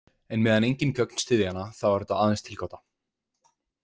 En meðan engin gögn styðja hana, þá er þetta aðeins tilgáta.